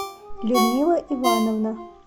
людмила ивановна